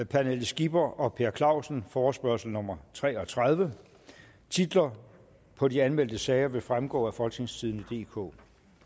pernille skipper og per clausen forespørgsel nummer tre og tredive titler på de anmeldte sager vil fremgå af folketingstidende DK